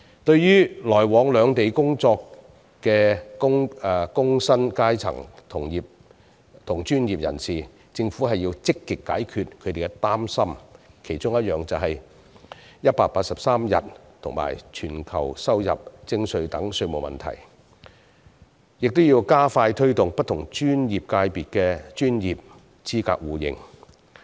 對於來往兩地工作的工薪階層及專業人士，政府要積極解決他們的擔心，其中一點是居住滿183天便要全球收入徵稅的稅務問題，還要加快推動不同專業界別的專業資格互認。